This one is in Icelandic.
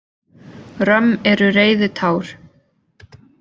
Römm eru reiðitár.